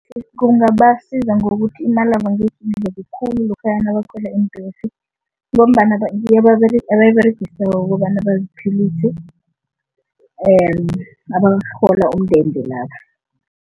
Kungabasiza ngokuthi imalabo angekhe khulu lokha nabakhwela iimbhesi ngombana abayiberegisako ukobana baziphilise and abarhola umndende